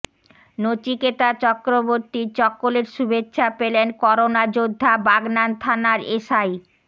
নচিকেতা চক্রবর্তীর চকোলেট শুভেচ্ছা পেলেন করোনা যোদ্ধা বাগনান থানার এসআই